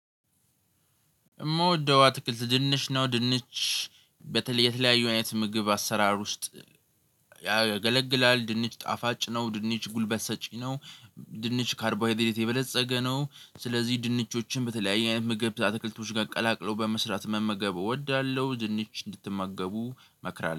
የምወደው አትክልት ድንች ነው። ድንች በተለየ የተለያዪ አይነት ምግብ አሰራር ውስጥ ያገለግላል። ድንች ጣፋጭ ነው። ድንች ጉልበት ሰጪ ነው። ድንች ካርቦሃይድሬት የበለፀገ ነው። ስለዚህ ድንቾችን በተለያየ ምግብ ታትክልቶች ጋር ቀላቅሎ በመስራት መመገብ እወዳለሁ። ድንች እንድትመገቡ መክራለሁ